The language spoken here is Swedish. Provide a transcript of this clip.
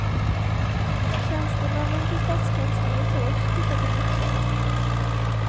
Tjänstemännen på stadskansliet har också tittat på motionen.